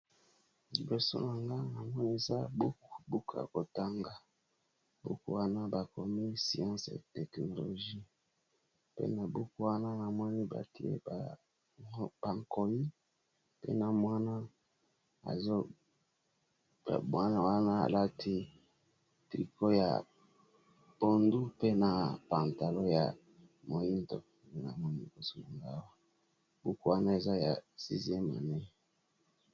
liboso na nga amonesa buku buka kotanga buku wana bakomi sience e teknologie pena buku wana na moni batie bakoni pe na mwana mwana wana alati triko ya pondu mpe na pantalo ya moindo na moni kosulngawa buku wana eza ya sizemanei